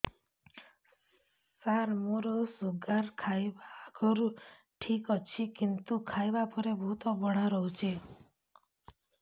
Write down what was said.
ସାର ମୋର ଶୁଗାର ଖାଇବା ଆଗରୁ ଠିକ ଅଛି କିନ୍ତୁ ଖାଇବା ପରେ ବହୁତ ବଢ଼ା ରହୁଛି